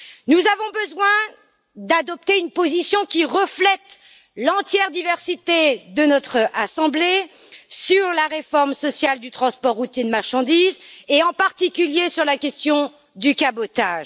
Nous avons besoin d'adopter une position qui reflète l'entière diversité de notre assemblée sur la réforme sociale du transport routier de marchandises et en particulier sur la question du cabotage.